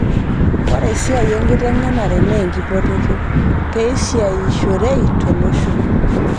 Ore esia enkiteng'enare naa enkipototo peesiayishorei to losho